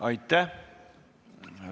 Aitäh!